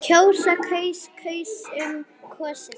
kjósa- kaus- kusum- kosið